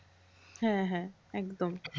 হ্যাঁ হ্যাঁ একদম।